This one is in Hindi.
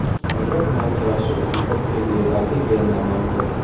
मीरा कुमार ने राष्ट्रपति पद के लिए दाखिल किया नामांकन